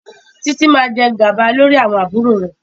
Títí máa jẹ gàba lórí àwọn àbúrò rẹ̀.